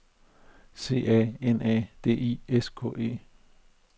C A N A D I S K E